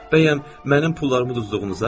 Bəyəm mənim pullarımı uduzduğunuza?